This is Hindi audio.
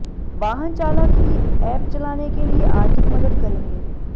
वाहन चालक ही ऐप चलाने के लिए आर्थिक मदद करेंगे